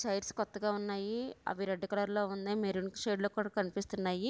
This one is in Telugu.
చైర్స్ కొత్తగా ఉన్నాయి అవి రెడ్ కలర్ లో ఉన్నాయి మెరూన్ షేడ్ లో కూడా కనిపిస్తున్నాయి.